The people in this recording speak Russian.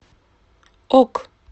ок